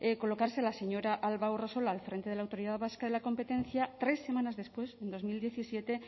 colocarse a la señora alba urresola al frente de la autoridad vasca de la competencia tres semanas después en dos mil diecisiete